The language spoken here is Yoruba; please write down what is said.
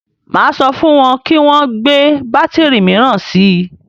Máa sọ fún wọn kí wọn gbé bátìrì míràn si.